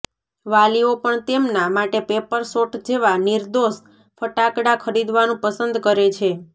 વાલીઓ પણ તેમના માટે પેપર શોટ જેવા નિર્દોષ ફટાકડા ખરીદવાનું પસંદ કરે છે